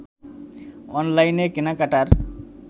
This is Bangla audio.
অনলাইনে কেনাকাটার